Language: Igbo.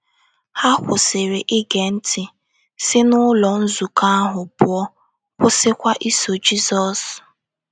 Ha kwụsịrị ige ntị, si n’ụlọ nzukọ ahụ pụọ — kwụsịkwa iso Jizọs.